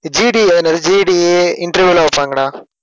GD ல GD இ interview லாம் வைப்பாங்கடா